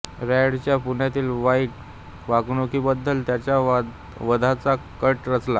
रँडच्या पुण्यातील वाईट वागणुकीबद्दल त्याच्या वधाचा कट रचला